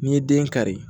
N'i ye den kari